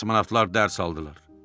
Kosmonavtlar dərs aldılar.